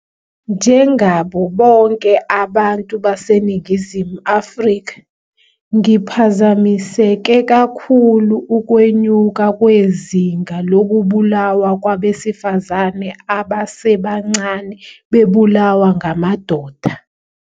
Njengabo bonke abantu baseNingizimu Afrika, ngiphazamiseke kakhulu ukwenyuka kwezinga lokubulawa kwabesifazane abasebancane bebulawa ngamadoda.